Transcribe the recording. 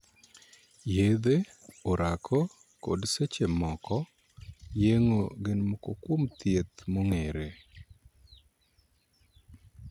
Yedhe, orako, kod, seche moko, yeng'o gin moko kuom thieth mong'ere.